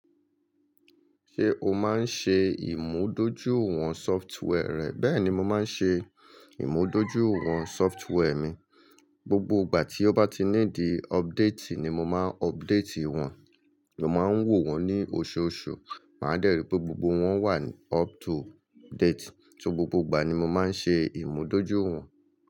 Ṣé o máa ń ṣe ìmúdójúìwọ̀n sọftweẹr rẹ̀? Bẹ́ẹ̀ni, mo máa ń ṣe ìmúdójúìwọ̀n sọftweẹr mi. Gbogbo ìgbà tí ó bá ti ní di update ni mo máa update wọn. Mo máa ń wò wọ́n ní oṣooṣù. Màá dẹ́rìí pé gbogbo wọn wà up to date. So gbogbo ìgbà ni mo máa ń ṣe ìmúdójúìwọ̀n.